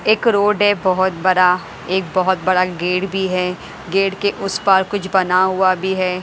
एक रोड है बहुत बरा एक बहुत बड़ा गेट भी है गेट के उस पार कुछ बना हुआ भी है।